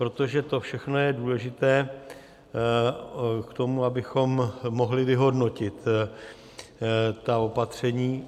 Protože to všechno je důležité k tomu, abychom mohli vyhodnotit ta opatření.